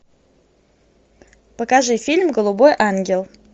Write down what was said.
покажи фильм голубой ангел